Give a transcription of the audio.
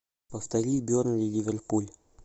повтори бернли ливерпуль